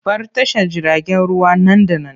Bar tashar jiragen ruwa nan da nan!